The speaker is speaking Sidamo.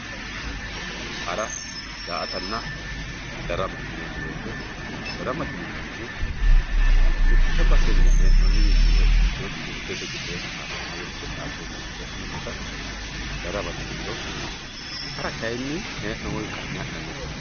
hara daa"atanna darama yineemo woyiite daramate yineemohu mitte basenni he'nooniwiinni woy ikkitiyooti urdete gedeeri xadeenna woy hude dhaadeenna agure ha'neemota daramate yiniro hara kayiini hee'noomowi ka'ne ha'nannite.